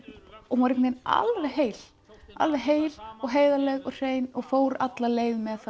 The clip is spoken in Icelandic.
hún var alveg heil alveg heil og heiðarleg og hrein og fór alla leið með það